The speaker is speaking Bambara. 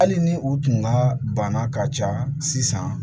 Hali ni u tun ka bana ka ca sisan